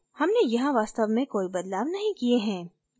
हमने यहाँ वास्तव में कोई बदलाव नहीं किये हैं